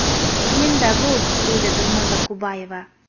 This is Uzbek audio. Qiyin-da bu”, deydi Dilnoza Kubayeva.